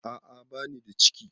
A a banida ciki.